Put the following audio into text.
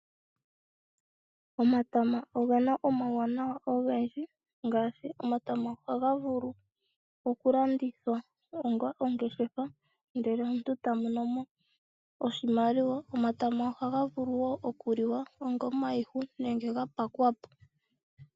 Omatama ogena omawuwanawa ogendji ngaashi . Omatama ohaga vulu oku landithwa onga ongeshefa ndele omuntu eta monomo oshimaliwa. Omatama ohaga vulu woo oku liwa onga omayihu nenge ga pakwapo.